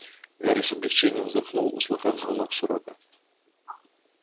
гарри с облегчением вздохнул услыхав звонок с урока